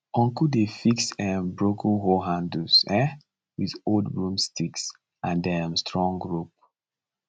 uncle dey fix um broken hoe handles um with old broomsticks and um strong rope